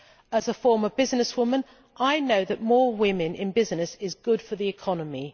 As a former businesswoman, I know that having more women in business is good for the economy.